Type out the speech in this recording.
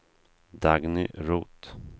Dagny Roth